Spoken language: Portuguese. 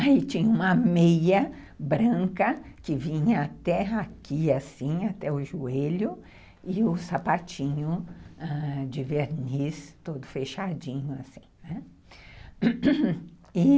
Aí tinha uma meia branca que vinha até aqui, assim, até o joelho, e um sapatinho de verniz, todo fechadinho, assim, né, e...